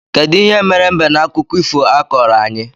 Kedụ ihe mere mbe na akụkọ ifo a i koro anyị?